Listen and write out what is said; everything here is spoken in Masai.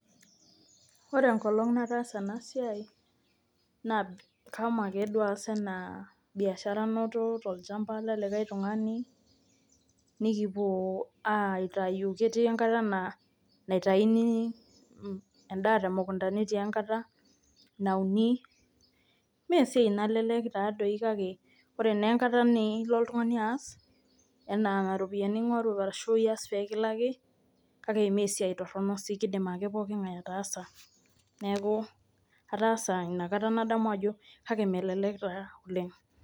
Ore enkoloong nataasa ena siai naa kashomo ake duo aas enaa biashara ake duo anoto tolchamba le likae tungani nikipuo aitayu, ketii enkata naa keitayuni endaa temukunta netii enkata nauni naa esiai doi nalelek kake ore naa enkata nilo oltungani aas pee kilaliki anaa ropiyiani ingoru kake mee sii esiai toronok duake keidim ake ppoking ngae ataasa inakata nadamu ajo kake melelek taa oleng.